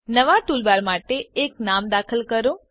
નવા ટૂલબાર માટે એક નામ દાખલ કરો